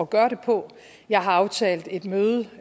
gøre det på jeg har aftalt et møde